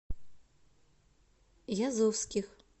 язовских